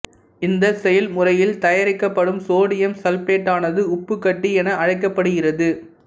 இந்தச் செயல்முறையில் தயாரிக்கப்படும் சோடியம் சல்பேட்டானது உப்புக் கட்டி என அழைக்கப்படுகிறது